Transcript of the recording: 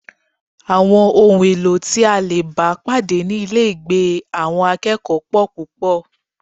Àwọn ohun èlò tí a lè bá pàdé ní ilégbèé àwọn akẹ́kọ̀ọ́ pọl púpọl